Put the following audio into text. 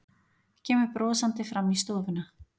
Kemur brosandi fram í stofuna.